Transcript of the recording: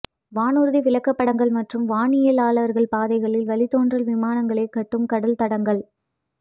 வானூர்தி விளக்கப்படங்கள் மற்றும் வானியலாளர்கள் பாதைகள் வழித்தோன்றல் விமானங்களைக் காட்டும் கடல் தடங்கள்